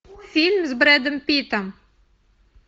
фильм с брэдом питтом